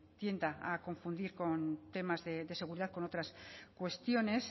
tienda a confundir con temas de seguridad con otras cuestiones